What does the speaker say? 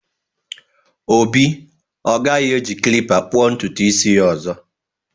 Obi ọ gaghị eji klippa kpụọ ntutu isi ya ọzọ.